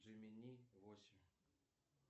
джемини восемь